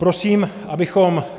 Prosím, abychom -